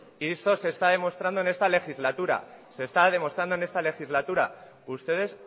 y eso se está demostrando en esta legislatura se está demostrando en esta legislatura ustedes